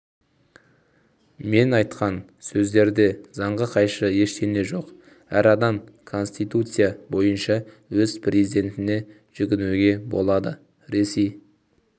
мен айтқан сөздерде заңға қайшы ештеңе жоқ әр адам конституция бойнша өз президентіне жүгінуге болады ресей